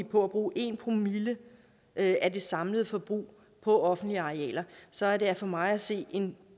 på at bruge en promille af det samlede forbrug på offentlige arealer så er det for mig at se en